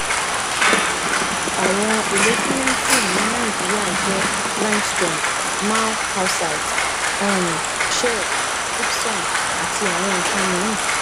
um àwọn èlò ṣimẹntì ní naijirìa jẹ limestone marl calcite um shale gypsum àti àwọn nkan mìí